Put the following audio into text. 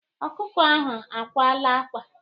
Ọkụkọ ahụ akwala ákwá.